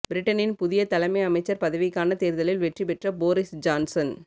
பிரிட்டனின் புதிய தலைமை அமைச்சர் பதவிக்கானத் தேர்தலில் வெற்றி பெற்ற போரிஸ் ஜான்சன்